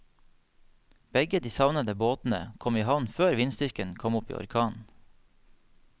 Begge de savnede båtene kom i havn før vindstyrken kom opp i orkan.